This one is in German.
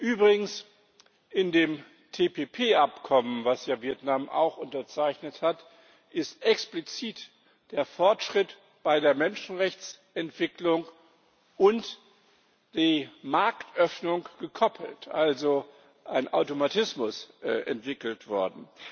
Übrigens In dem TPP Abkommen, das ja Vietnam auch unterzeichnet hat, ist explizit der Fortschritt bei der Menschenrechtsentwicklung mit der Marktöffnung gekoppelt, also ein Automatismus entwickelt worden.